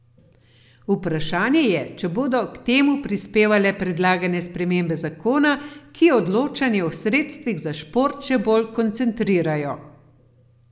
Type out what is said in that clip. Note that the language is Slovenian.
Vprašanje je, če bodo k temu prispevale predlagane spremembe zakona, ki odločanje o sredstvih za šport še bolj koncentrirajo.